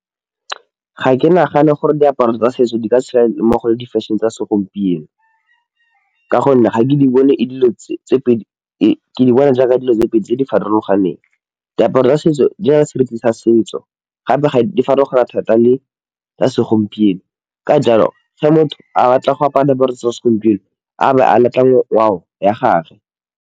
Ga ke nagane gore diaparo tsa setso di ka tshela mmogo le di fashion-e tsa segompieno ka gonne ga ke bone ke di bona jaaka dilo tse pedi tse di farologaneng, diaparo tsa setso di na le se re tlisa setso gape di farologana thata le tsa segompieno, ka jalo ge motho a batla go apara diaparo tsa segompieno a be a batla ngwao ya gagwe.